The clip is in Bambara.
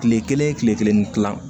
Kile kelen kile kelen ni kila